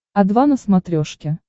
о два на смотрешке